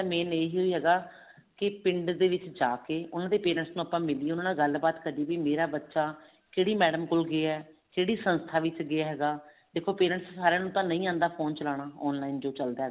main ਇਹ ਹੈਗਾ ਕੀ ਪਿੰਡ ਦੇ ਵਿੱਚ ਜਾ ਕੇ parents ਨੂੰ ਆਪਾਂ ਮਿਲੀਏ ਉਹਨਾ ਨਾਲ ਗੱਲਬਾਤ ਕਰੀਏ ਮੇਰਾ ਬੱਚਾ ਕਿਹੜੀ madam ਕੋਲ ਗਿਆ ਕਿਹੜੀ ਸੰਸਥਾ ਵਿੱਚ ਗਿਆ ਹੈਗਾ ਦੇਖੋ parents ਸਾਰਿਆਂ ਨੂੰ ਤਾਂ ਨਹੀਂ ਆਉਂਦਾ phone ਚਲਾਉਣਾ online ਜੋ ਚੱਲਦਾ